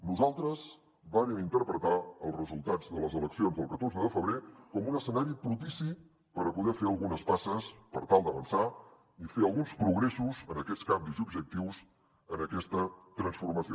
nosaltres vàrem interpretar els resultats de les eleccions del catorze de febrer com un escenari propici per a poder fer algunes passes per tal d’avançar i fer alguns progressos en aquests canvis i objectius en aquesta transformació